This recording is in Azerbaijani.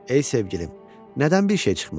Ey sevgilim, nədən bir şey çıxmaz?